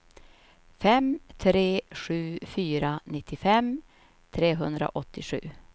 fem tre sju fyra nittiofem trehundraåttiosju